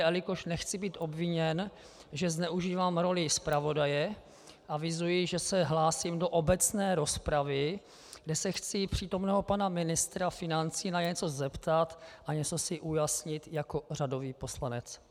A jelikož nechci být obviněn, že zneužívám roli zpravodaje, avizuji, že se hlásím do obecné rozpravy, kdy se chci přítomného pana ministra financí na něco zeptat a něco si ujasnit jako řadový poslanec.